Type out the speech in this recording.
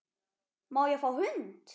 Má ég fá hund?